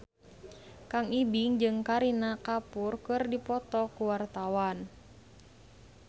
Kang Ibing jeung Kareena Kapoor keur dipoto ku wartawan